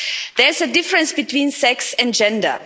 There is a difference between sex and gender.